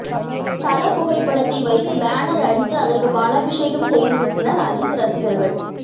தல புகைப்படத்தை வைத்து பேனர் அடித்து அதற்கு பாலாபிஷேகமும் செய்துவிட்டனர் அஜீத் ரசிகர்கள்